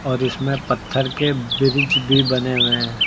और इसमें पत्थर के ब्रिज भी बने हुए हैं।